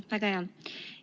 Väga hea.